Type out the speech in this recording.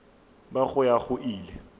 ba go ya go ile